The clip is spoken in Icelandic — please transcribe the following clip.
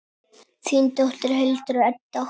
Þín dóttir, Hildur Edda.